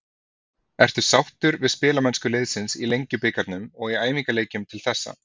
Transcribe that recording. Ertu sáttur við spilamennsku liðsins í Lengjubikarnum og í æfingaleikjum til þessa?